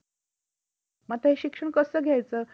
मग आता हे शिक्षण कस घायच?